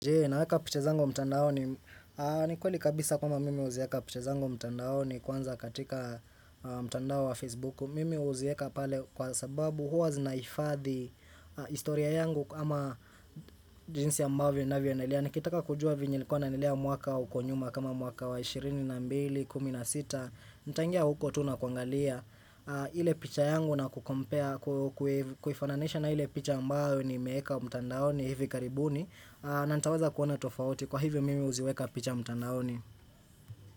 Jee, naweka piche zangu mtandaoni? Ni kweli kabisa kwamba mimi huzieka picha zangu mtandaoni kwanza katika mtandao wa Facebook mimi huzieka pale kwa sababu huwa zinahifadhi historia yangu ama jinsi ambavyo ninavyoonelea, Nikitaka kujua vyenye nilikuwa ninaendelea mwaka uko nyuma kama mwaka wa 22, 16 nitaingia huko tu na kuangalia ile picha yangu na kucompare, ku ku kuifananisha na ile picha ambayo nimeweka mtandaoni hivi karibuni na nitaweza kuona tofauti kwa hivyo mimi huziweka picha mtandaoni.